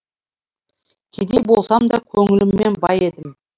кедей болсам да көңіліммен бай едім